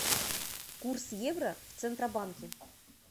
курс евро в центробанке